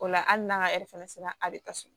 O la hali n'an ka fana sera a bɛ taa so